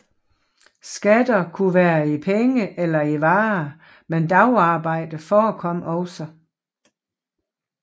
Skatter kunne være i penge eller i varer men dagarbejde forekom også